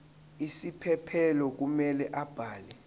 isiphephelo kumele abhale